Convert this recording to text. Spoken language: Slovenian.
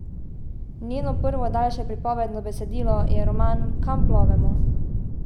Njegovo prvo daljše pripovedno besedilo je roman Kam plovemo?